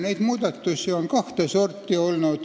Need muudatused on olnud kahte sorti.